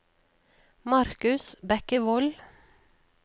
Marcus Bekkevold